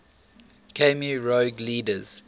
khmer rouge leaders